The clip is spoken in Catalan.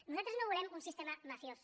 nosaltres no volem un sistema mafiós